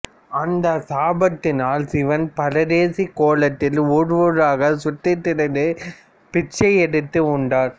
அந்த சாபத்தினால் சிவன் பரதேசி கோலத்தில் ஊர் ஊராக சுற்றி திரிந்து பிச்சை எடுத்து உண்டார்